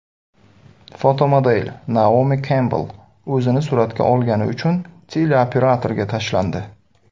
Fotomodel Naomi Kempbell o‘zini suratga olgani uchun teleoperatorga tashlandi.